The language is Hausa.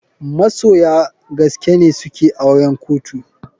Masoya gaskene suke auren kotu.